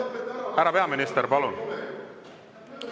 Härra peaminister, palun!